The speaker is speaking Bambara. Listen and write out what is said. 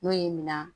N'o ye minan